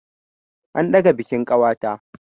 An ɗaga bikin ƙawata.